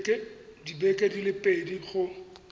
dibeke di le pedi go